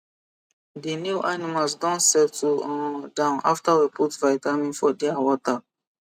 di new animals don settle um down after we put vitamin for dia water